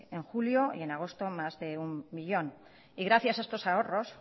en julio y en agosto más de uno millón gracias a estos ahorros